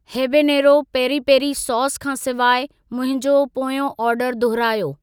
Habanero peri peri sauce खां सिवाइ मुंहिंजो पोयों ऑर्डर दुहरायो।